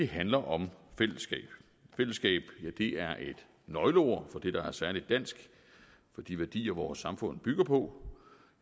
handler om fællesskab fællesskab er et nøgleord for det der er særlig dansk for de værdier som vores samfund bygger på